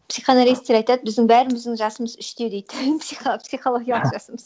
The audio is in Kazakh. психоаналитиктер айтады біздің бәріміздің жасымыз үште дейді психологиялық жасымыз